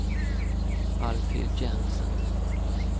Alfhild Jensen